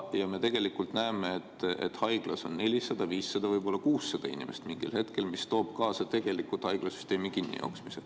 Me näeme, et haiglas on 400, 500, võib-olla 600 inimest mingil hetkel, mis toob kaasa haiglasüsteemi kinnijooksmise.